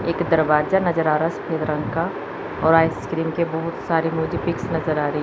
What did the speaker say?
एक दरवाजा नजर आ रहा हैं सफेद रंग का और आइस्क्रीम के बहोत सारे मुझे पिक्स नजर आ रही--